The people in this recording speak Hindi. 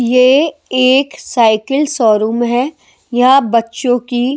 ये एक साइकिल शोरूम है यहां बच्चों की--